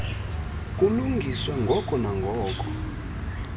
kulungiswe ngoko nangoko